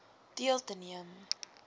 deel te neem